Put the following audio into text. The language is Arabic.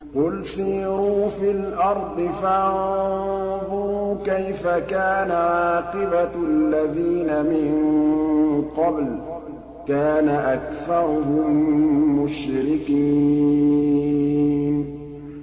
قُلْ سِيرُوا فِي الْأَرْضِ فَانظُرُوا كَيْفَ كَانَ عَاقِبَةُ الَّذِينَ مِن قَبْلُ ۚ كَانَ أَكْثَرُهُم مُّشْرِكِينَ